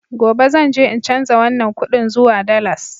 Gobe zan je in canza wannan kudin zuwa dalas